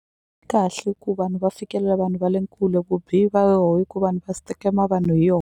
Kahle ku vanhu va fikelela vanhu va le kule vu bihi va yoho i ku vanhu va vanhu hi yo.